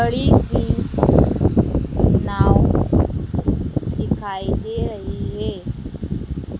बड़ी सी नाव दिखाई दे रही हैं।